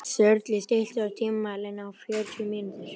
Sörli, stilltu tímamælinn á fjórtán mínútur.